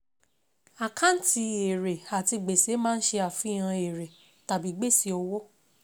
Àkáǹtì èrè àti gbèsè máa ń ṣe àfihàn èrè tàbí gbèsè òwò.